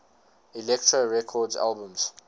elektra records albums